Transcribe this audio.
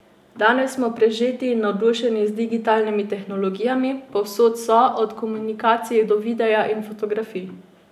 Danes smo prežeti in navdušeni z digitalnimi tehnologijami, povsod so, od komunikacij do videa in fotografij.